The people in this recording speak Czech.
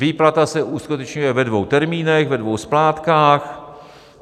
Výplata se uskutečňuje ve dvou termínech, ve dvou splátkách.